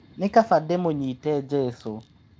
Nĩ kaba ndĩmũnyite Jesũ.